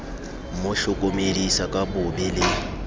mo hlokomedisa ka bobe le